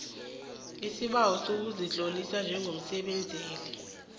isibawo sokuzitlolisa njengomsebenzeli